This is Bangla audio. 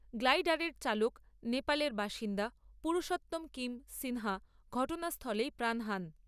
গ্লাইডারের চালক নেপালের বাসিন্দা পুরুষো কিম সিনহা ঘটনাস্থলেই প্রাণ হারান।